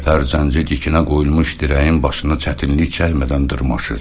Yekəpər zənci tikinə qoyulmuş dirəyin başını çətinlik çəkmədən dırmaşır.